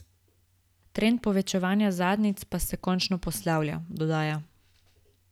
Trend povečanih zadnjic pa se končno poslavlja, dodaja.